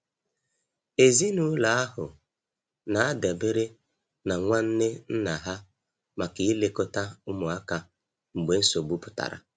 Ezinụlọ ahụ na-adabere na nwanne nna ha maka ilekọta ụmụaka mgbe nsogbu pụtara.